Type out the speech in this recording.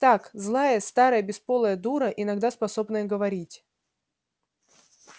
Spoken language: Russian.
так злая старая бесполая дура иногда способная говорить